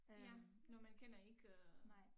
Ja når man kender ikke øh